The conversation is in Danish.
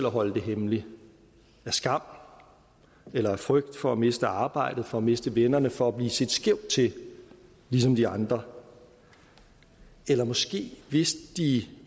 holde det hemmeligt af skam eller af frygt for at miste arbejdet for at miste vennerne for at blive set skævt til ligesom de andre eller måske vidste de